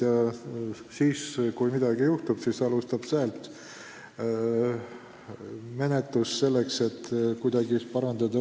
Ja kui midagi juhtub, siis tuleb alustada menetlust, et olukorda kuidagi parandada.